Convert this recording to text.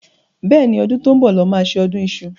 Bẹ́ẹ̀ni, ọdún tó ń bọ̀ lọ́ ma ṣe ọdún iṣu.